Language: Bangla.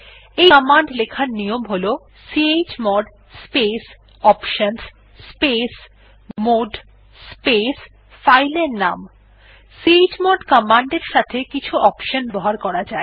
ইআই কমান্ড লেখার নিয়ম হল chmod space options space mode space file এর নাম চমোড কমান্ড এর সাথে কিছু অপশন ব্যবহার করা যায়